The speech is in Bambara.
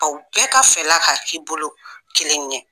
Aw bɛɛ ka fɛla ka k'i bolo kelen ɲɛ.